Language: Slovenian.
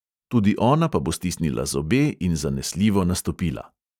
Tudi ona pa bo stisnila zobe in zanesljivo nastopila."